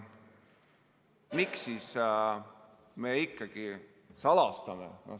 Miks me siis ikkagi salastame?